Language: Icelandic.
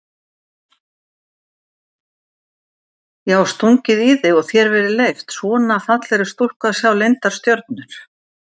Já stungið í þig og þér verið leyft, svona fallegri stúlku að sjá leyndar stjörnur?